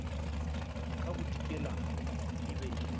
ka bodikela e be e